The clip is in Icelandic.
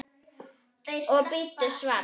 Og bíddu svars.